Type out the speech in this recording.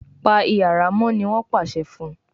Pa iyàrá mọ !ní wón pàṣẹ fún